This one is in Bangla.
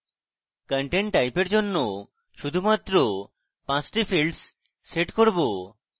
content type for জন্য শুধুমাত্র 5টি fields set করব